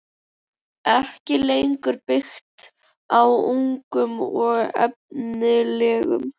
ekki lengur byggt á ungum og efnilegum?